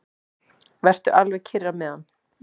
Vertu alveg kyrr á meðan.